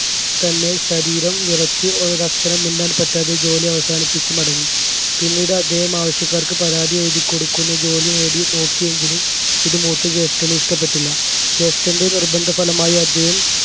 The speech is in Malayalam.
തന്നെ ശരീരം വിറച്ച് ഒരക്ഷരം മിണ്ടാൻ പറ്റാതെ ജോലി അവസാനിപ്പിച്ച് മടങ്ങി പിന്നീട് അദ്ദേഹം ആവശ്യക്കാർക്ക് പരാതി എഴുതികൊടുക്കുന്ന ജോലി നേടി നോക്കിയെങ്കിലും ഇത് മൂത്ത ജ്യേഷ്ഠന് ഇഷ്ടപ്പെട്ടില്ല ജ്യേഷ്ടൻറെ നിർബന്ധഫലമായി അദ്ദേഹം